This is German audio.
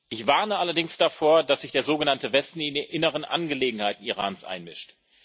Ich warne allerdings davor, dass sich der sogenannte Westen in die inneren Angelegenheiten Irans einmischt.